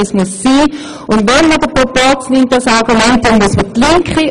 Es ist genau so vertreten, wie es sein muss.